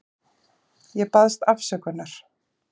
Ég baðst afsökunar.